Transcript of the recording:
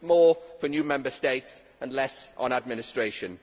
With more for new Member States and less on administration.